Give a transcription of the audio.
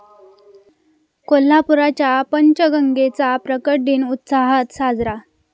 कोल्हापूरच्या पंचगंगेचा प्रकट दिन उत्साहात साजरा